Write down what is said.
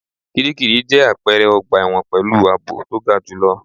Kíríkirì jẹ́ àpẹrẹ ọgbà ẹ̀wọ̀n pẹ̀lú àbò to ga jù lọ.